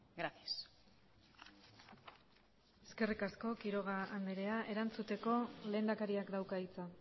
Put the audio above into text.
gracias eskerrik asko quiroga andrea erantzuteko lehendakariak dauka hitza